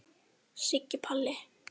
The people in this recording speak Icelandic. Siggi Palli.